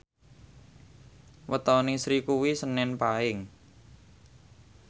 wetone Sri kuwi senen Paing